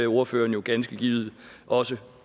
ordføreren jo ganske givet også